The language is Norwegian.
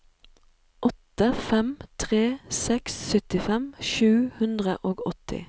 åtte fem tre seks syttifem sju hundre og åtti